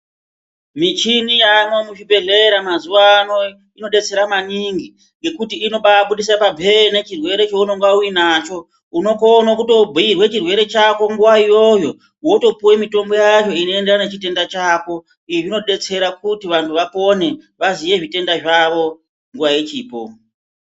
Mishini yaamwo muzvibhedhlera mazuwa ano inodetsera maningi ngekuti inobaabudisa pamhene chirwere chaunge uinacho. Unotokone kutobhuirwe chirwere chako nguwa iyoyo wotopuwe mitombo yacho inoenderana nechitenda chako. Izvi zvinodetsera kuti vantu vapone vaziye zvitenda zvavo nguwa ichipo.